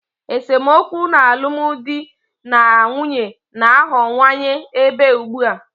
Esemokwu n'alụmdi na nwunye na-aghọwanye ebe ugbu a.